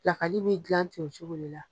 Lakali bi gilan ten cogo de la.